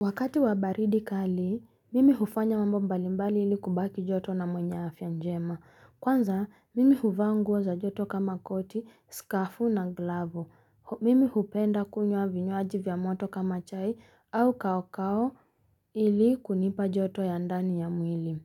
Wakati wa baridi kali, mimi hufanya mambo mbalimbali ili kubaki joto na mwenye afya njema. Kwanza, mimi huvanla nguog za joto kama koti, skafu na glavo. Mimi hupenda kunywa vinywaji vya moto kwa kama chai au kaokao ili kunipa joto ya ndani ya mwili.